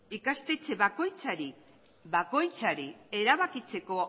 ikastetxe bakoitzari erabakitzeko